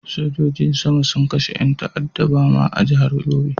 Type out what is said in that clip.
Sojojin sama sun kashe yan ta'adda a Bama a jihar Yobe.